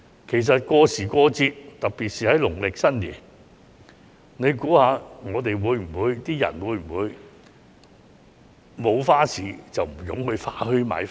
其實，過時過節，尤其是農曆新年，難道不辦花市，市民便不會湧至花墟買花嗎？